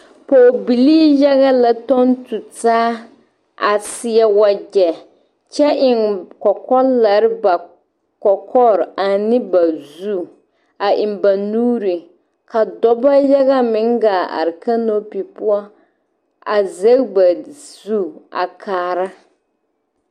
Pɔgebilii yaga la tɔŋ tu taa a seɛ wagyɛ kyɛ eŋ kɔkɔlɛɛ ba kɔkɔre ane ba zu a eŋ ba nuuri ka dɔba yaga meŋ gaa are kanopi poɔ a zɛge ba zu a kaara.